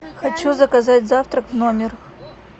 хочу заказать завтрак в номер